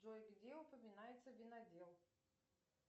джой где упоминается винодел